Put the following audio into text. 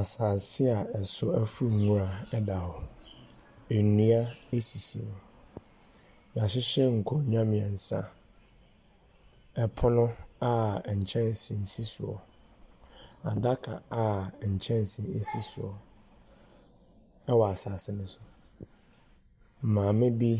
Asaase a ɛso afu nwura da hɔ, nnua sisi mu, yɛahyehyɛ nkonnwa mmiɛnsa, pono a nkyɛnse si soɔ, adaka a nkyɛnse si soɔ wɔ asaase ne so. Maame bi